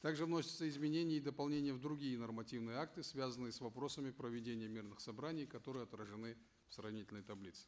также вносятся изменения и дополнения в другие нормативные акты связанные с вопросами проведения мирных собраний которые отражены в сравнительной таблице